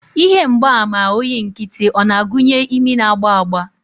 Ihe mgbaàmà oyi nkịtị o na-agụnye imi na-agba agba?